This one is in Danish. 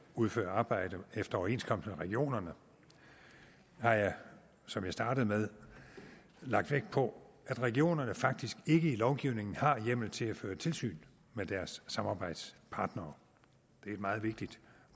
udfører arbejde efter overenskomst med regionerne har jeg som jeg startede med lagt vægt på at regionerne faktisk ikke i lovgivningen har hjemmel til at føre tilsyn med deres samarbejdspartnere det er et meget vigtigt